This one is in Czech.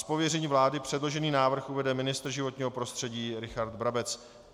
Z pověření vlády předložený návrh uvede ministr životního prostředí Richard Brabec.